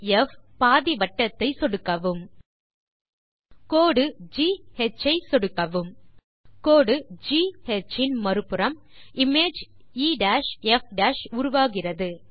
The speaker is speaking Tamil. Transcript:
எஃப் பாதி வட்டத்தை சொடுக்கவும் கோடு கா ஐ சொடுக்கவும் கோடு கா இன் மறுபுறம் இமேஜ் எஃப் உருவாகிறது